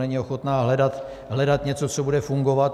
Není ochotná hledat něco, co bude fungovat.